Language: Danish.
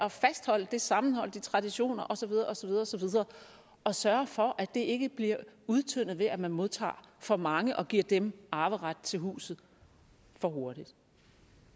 at fastholde det sammenhold og de traditioner og så videre og så videre og sørge for at det ikke bliver udtyndet ved at man modtager for mange og giver dem arveret til huset for hurtigt